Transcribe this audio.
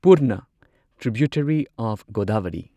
Purna tributary of Godavari